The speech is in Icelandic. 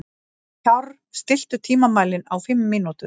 Kjárr, stilltu tímamælinn á fimm mínútur.